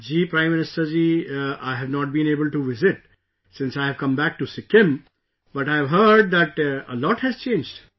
Ji Prime Minister ji, I have not been able to visit since I have come back to Sikkim, but I have heard that a lot has changed